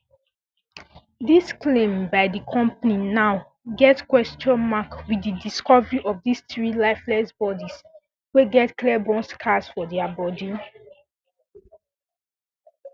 dis claim by di company now get um kwesion mark wit di discovery of dis three lifeless bodies wey get clear burn scars for dia bodies